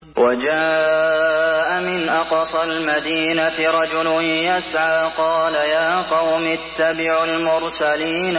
وَجَاءَ مِنْ أَقْصَى الْمَدِينَةِ رَجُلٌ يَسْعَىٰ قَالَ يَا قَوْمِ اتَّبِعُوا الْمُرْسَلِينَ